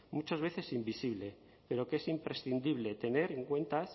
muchas veces invisible pero que es imprescindible tener en cuenta